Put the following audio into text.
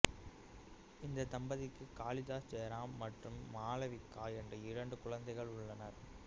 இந்த தம்பதிக்கு காளிதாஸ் ஜெயரம் மற்றும் மாலவிகா என்ற இரண்டு குழந்தைகள் உள்ளனர்